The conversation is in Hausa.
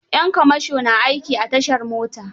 Yan kamasho na aiki a tashar mota.